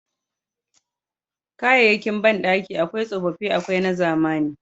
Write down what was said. Kayayyakin bandaki akwai tsofaffi akwai na zamani.